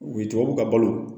U ye tubabu ka balo